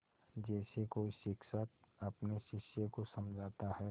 जैसे कोई शिक्षक अपने शिष्य को समझाता है